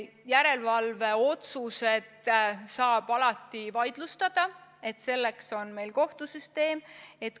Järelevalveotsuseid saab alati vaidlustada, selleks on meil kohtusüsteem.